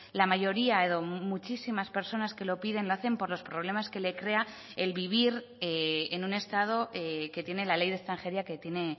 la mayoría edo muchísimas personas que lo piden lo hacen por los problemas que le crea el vivir en un estado que tiene la ley de extranjería que tiene